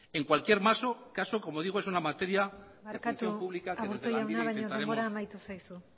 en cualquier caso como digo es una materia de función pública que desde lanbide intentaremos barkatu aburto jauna baino denbora amaitu zaizu